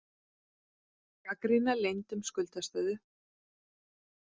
Gagnrýna leynd um skuldastöðu